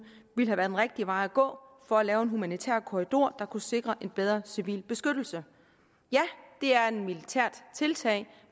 ville have været den rigtige vej at gå for at lave en humanitær korridor der kunne sikre en bedre civil beskyttelse ja det er et militært tiltag